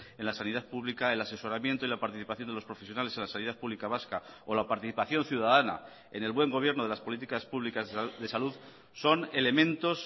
en las sanidad pública el asesoramiento y la participación de los profesionales en la sanidad pública vasca o la participación ciudadana en el buen gobierno de las políticas públicas de salud son elementos